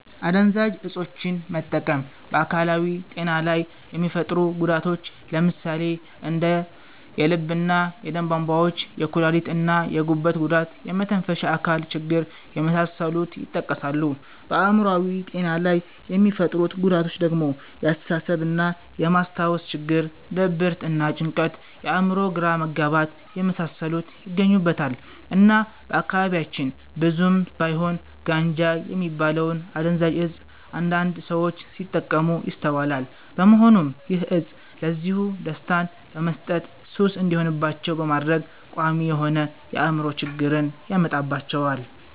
አደንዛዥ እፆችን መጠቀም በ አካላዊ ጤና ላይ የሚፈጥሩት ጉዳቶች ለምሳሌ እንደ የልብ እና የደም ቧንቧ ችግሮች፣ የኩላሊት እና የጉበት ጉዳት፣ የመተንፈሻ አካል ችግር የመሳሰሉት ይጠቀሳሉ። በአእምሮአዊ ጤና ላይ የሚፈጥሩት ጉዳቶች ደግሞ የአስተሳሰብ እና የ ማስታወስ ችግር፣ ድብርት እና ጭንቀት፣ የ አእምሮ ግራ መጋባት የመሳሰሉት ይገኙበታል። እና በአካባቢያችን ብዙም ባይሆን ጋንጃ የሚባለውን አደንዛዥ እፅ አንዳንድ ሰዎች ሲጠቀሙት ይስተዋላል በመሆኑም ይህ እፅ ለጊዜው ደስታን በመስጠት ሱስ እንዲሆንባቸው በማድረግ ቋሚ የሆነ የ አእምሮ ችግርን ያመጣባቸዋል።